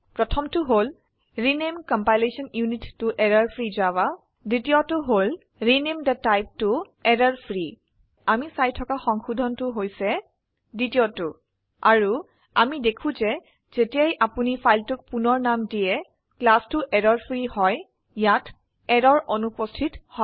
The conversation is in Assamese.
প্ৰথম টো হল ৰেনামে কম্পাইলেশ্যন ইউনিট ত এৰৰফ্ৰী জাভা দ্বীতিয় টো হল ৰেনামে থে টাইপ ত এৰৰফ্ৰী আমি চাই থকা সংশোধন হৈছে দ্বিতীয়টো আৰু আমি দেখো যে যেতিয়াই আপোনি ফাইলটোক পুনৰ নাম দিয়ে ক্লাসটো এৰৰফ্ৰী হয় ইয়াত এৰৰ অনুপস্থিত হয়